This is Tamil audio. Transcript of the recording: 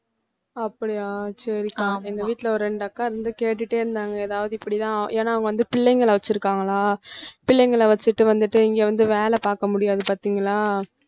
அப்படியா சரிக்கா எங்க வீட்ல ஒரு இரண்டு அக்கா இருந்து கேட்டுட்டே இருந்தாங்க ஏதாவது இப்படிதான் ஏன்னா அவங்க பிள்ளைங்கள வெச்சிருக்காங்களா பிள்ளைங்கள வெச்சிட்டு வந்துட்டு இங்க வந்து வேலை பார்க்க முடியாது பாத்தீங்களா